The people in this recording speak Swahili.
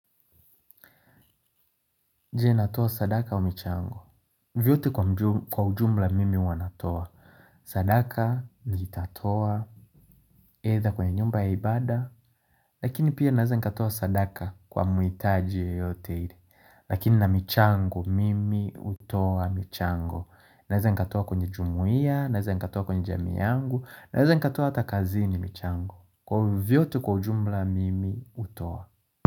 Je natoa sadaka wa michango? Vyote kwa ujumla mimi huwa natoa. Sadaka, nitatoa, aidha kwenye nyumba ya ibaada. Lakini pia naweza nikatoa sadaka kwa mwitaji yeyote ili. Lakini na michango mimi hutoa michango. Naweza nikatoa kwenye jumuiya, naweza nikatoa kwenye jamii yangu, naweza nikatoa hata kazini michango. Kwa hivyo vyote kwa ujumla mimi utoa.